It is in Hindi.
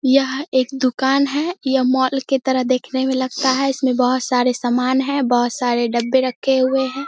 यह एक दुकान है यह मॉल के तरह देखने में लगता है इसमें बहोत सारे सामान है बहोत सारे डब्बे रखें हुए है ।